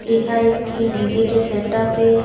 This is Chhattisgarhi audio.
ये ह एक ठी डी_जे के सेटअप ए--